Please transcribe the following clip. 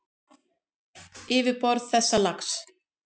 Yfirborð þessa lags